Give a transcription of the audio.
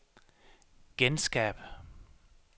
genskab